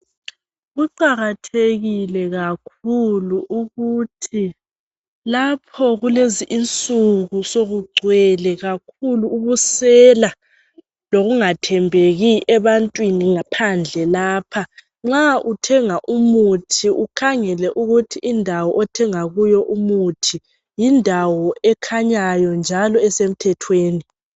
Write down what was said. kuqakathekile kakhulu ukuthi lapho kulezinsukunsokucwele kakhulu ubusela lokungathembekingaphandle lapha nxa uthenga umuthi ukhangele ukuthi indawo othenga kiyo umuthi yindawo ekhanyayo njalo esemthethweni.